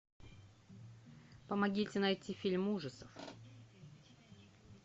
помогите найти фильм ужасов